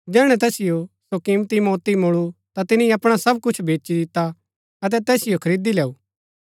जैहणै तैसिओ सो किमती मोति मूळु ता तिनी अपणा सब कुछ बेची दिता अतै तैसिओ खरीदी लैऊ